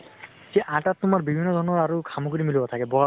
সেই আটাত তোমাৰ বিভিন্ন ধৰণৰ খামগ্ৰী মিলোৱা থাকে ।